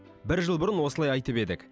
бір жыл бұрын осылай айтып едік